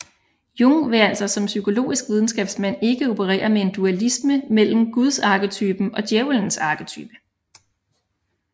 Jung vil altså som psykologisk videnskabsmand ikke operere med en dualisme mellem Gudsarketypen og Djævelens arketype